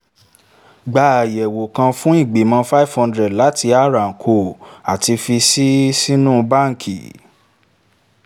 gba àyẹ̀wò kan fún ìgbìmọ̀ five hundred láti r & co àti fi sii sínú báǹkì